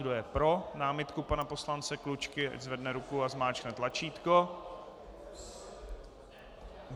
Kdo jej pro námitku pana poslance Klučky, ať zvedne ruku a zmáčkne tlačítko.